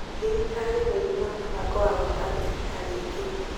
Thirikari nĩrĩ na mũbango wa gwaka thibitari ĩngĩ